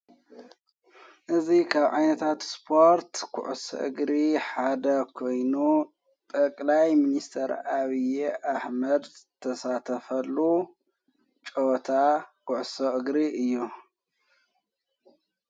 እዙ ኻብ ዓይነታት ስፖርት ዂዑስእግሪ ሓደ ኮይኑ ጠቕላይ ምንስተር ኣብዪ ኣኅመድ ተሳተፈሉ ጨወታ ዂዕሶ እግሪ እዮ::